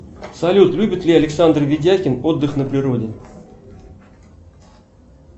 салют любит ли александр видякин отдых на природе